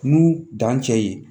N'u dan cɛ ye